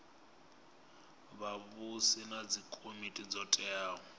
vhavhusi na dzikomiti dzo teaho